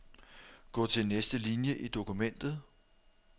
Gå til næste linie i dokumentet.